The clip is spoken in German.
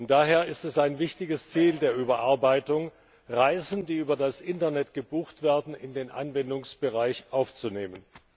Daher ist es ein wichtiges Ziel der Überarbeitung, Reisen, die über das Internet gebucht werden, in den Anwendungsbereich aufzunehmen.